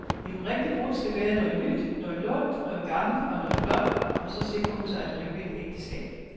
En rigtig brud skal bære noget nyt, noget lånt, noget gammelt og noget blåt, for så sikrer hun sig et lykkeligt ægteskab.